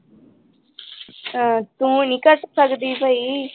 ਅਹ ਤੂੰ ਨੀ ਕੱਟ ਸਕਦੀ ਬਈ।